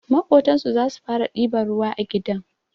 Maƙotansu zasu fara ɗiban ruwa a gidan